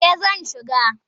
Eh zan shiga.